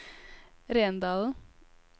Rendalen